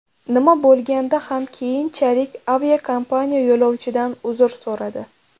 Nima bo‘lganda ham, keyinchalik aviakompaniya yo‘lovchidan uzr so‘radi.